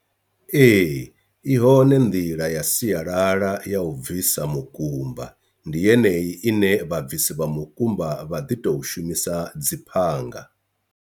Ee, i hone nḓila ya sialala ya u bvisa mukumba ndi yeneyi ine vhabvisi vha mukumba vha ḓi to shumisa dzi phanga.